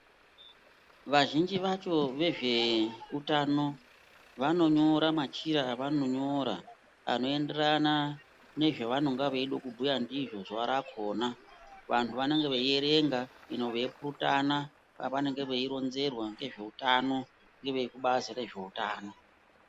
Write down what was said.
Vazhinji vacho vezveutano vanonyora machira avanonyora anoenderana nezvevanenge veida kubhuya ndizvo zuwa rakona, vantu vanenge veierenga ino veipurutana pavanenge veironzerwa ngezveutano ngevekubazi rezveutano.